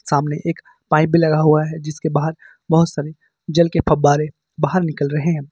सामने एक पाइप भी लगा हुआ है जिसके बाहर बहुत सारे जल के फव्वारे बाहर निकल रहे हैं।